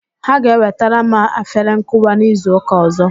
Ha ga-ewetara m afere nkụwa n'izu ụka ọzọ